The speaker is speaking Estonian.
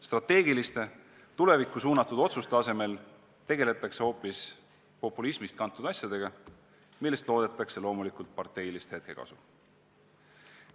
Strateegiliste, tulevikku suunatud otsuste asemel tegeletakse hoopis populismist kantud asjadega, millest loodetakse loomulikult parteilist hetkekasu.